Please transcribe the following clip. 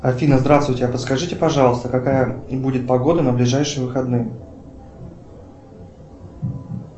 афина здравствуйте а подскажите пожалуйста какая будет погода на ближайшие выходные